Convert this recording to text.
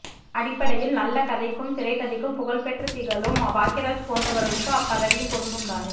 அடிப்படையில் நல்ல கதைக்கும் திரைக்கதைக்கும் புகழ்பெற்ற திகழும் பாக்கியராஜ் போன்றவர்களுக்கு அப்பதவியும் பொருந்தும் தானே